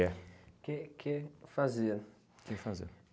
É. Que que fazer? Que fazer?